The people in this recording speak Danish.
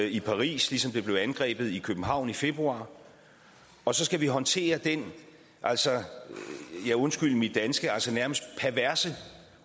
i paris ligesom det blev angrebet i københavn i februar og så skal vi håndtere den ja undskyld mit danske nærmest perverse